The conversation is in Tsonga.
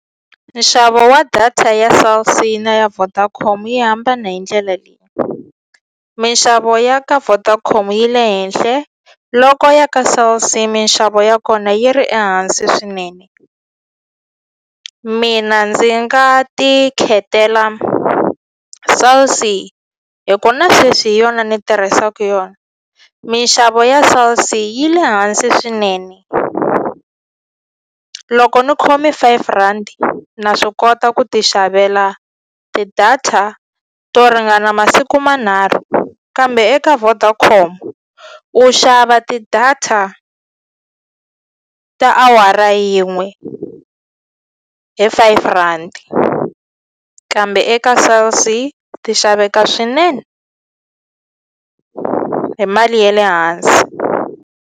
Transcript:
Nxavo wa data ya Cell C na ya Vodacom yi hambana hi ndlela leyi minxavo ya ka Vodacom yi le henhle loko ya ka Cell C minxavo ya kona yi ri ehansi swinene mina ndzi nga ti khethela Cell C hi ku na sweswi hi yona ni tirhisaku yona mixavo ya Cell C yi le hansi swinene loko ni khome five rand na swi kota ku ti xavela ti-data to ringana masiku manharhu kambe eka Vodacom u xava ti-data ta awara yin'we hi five rhandi kambe eka Cell C ti xaveka swinene hi mali ye le hansi.